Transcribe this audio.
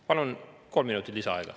Palun kolm minutit lisaaega.